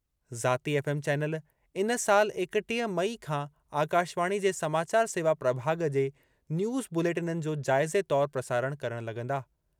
ज़ाती FM channel इन साल एकटीह मई खां आकाशवाणी जे समाचार सेवा प्रभाॻु जे न्यूज़ बुलेटननि जो जाइज़े तौरु प्रसारण करणु लगं॒दा।